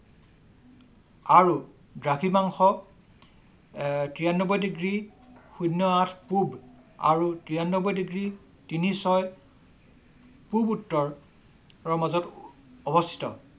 আৰু দাঘিমাংক্ষ তিৰান্নবৈ ডিগ্ৰী শূণ্য আঠ পূব আৰু তিৰান্নবৈ তিনি ছয় পূব উত্তৰ মাজত অৱস্থিত।